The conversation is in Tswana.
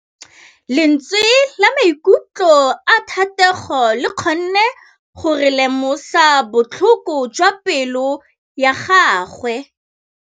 Lentswe la maikutlo a Thategô le kgonne gore re lemosa botlhoko jwa pelô ya gagwe.